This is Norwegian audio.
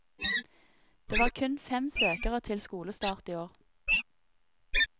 Det var kun fem søkere til skolestart i år.